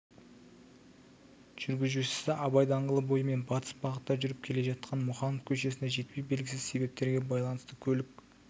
жүргізушісі абай даңғылы бойымен батыс бағытта жүріп келе жатқан мұқанов көшесіне жетпей белгісіз себептерге байланысты көлік